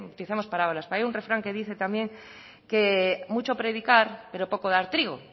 utilizamos palabras pero hay un refrán que dice también que mucho predicar pero poco dar trigo